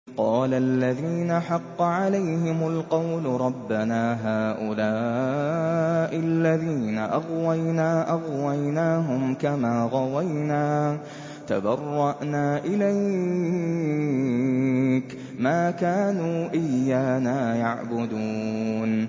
قَالَ الَّذِينَ حَقَّ عَلَيْهِمُ الْقَوْلُ رَبَّنَا هَٰؤُلَاءِ الَّذِينَ أَغْوَيْنَا أَغْوَيْنَاهُمْ كَمَا غَوَيْنَا ۖ تَبَرَّأْنَا إِلَيْكَ ۖ مَا كَانُوا إِيَّانَا يَعْبُدُونَ